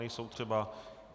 Nejsou třeba.